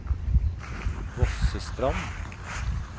Vossestrand